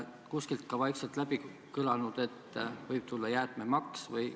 Kas on vaikselt läbi kõlanud, et võib tulla jäätmemaks?